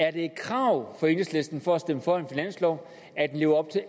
er det et krav fra enhedslisten for at stemme for en finanslov at den lever op til